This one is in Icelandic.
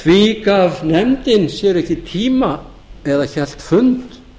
því gaf nefndin sér ekki tíma eða hélt fund